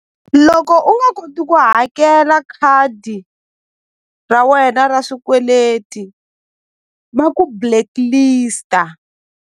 Loko u nga koti ku hakela khadi ra wena ra swikweleti va ku blacklist-a.